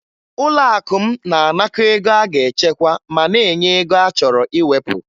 Ụlọakụ m na-anakọ ego a ga-echekwa ma na-enye ego a chọrọ iwepụ